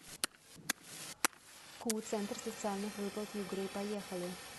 ку центр социальных выплат югры поехали